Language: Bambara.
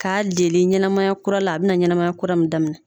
K'a lele ɲɛnamaya kura la a bɛna ɲɛnama kura min daminɛ.